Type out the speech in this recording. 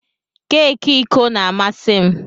Keki iko na-amasị m.